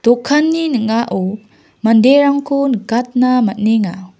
dokanni ning·ao manderangko nikatna man·enga.